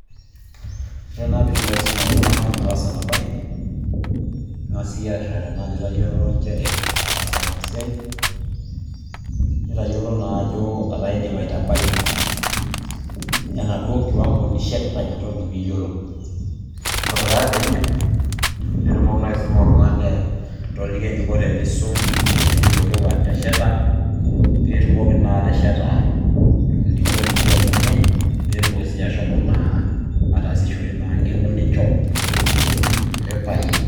ore naa pee itumoki aisuma iltung'anak pee ees ena bae, ing'as iyie aretana ajo itayiolo nchere ataasa ina siai. nitayiolo naa ajo etaa idim aitabai ena duoo kiwango nishetita ina toki pee iyiolou, ore taa pee idip, nitumoki naa aisuma oltungani atoliki eneiko tenisum, teneyiolou atesheta, pee itumoki naa atesheta olning'o lino o ninye ,pee etumoki ataasisore ina ng'eno ninchoo.